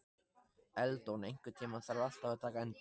Eldon, einhvern tímann þarf allt að taka enda.